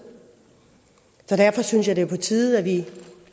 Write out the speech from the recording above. så derfor synes jeg det er på tide at vi